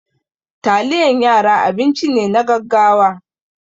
Taliyan yara abinci ne na gaggawa.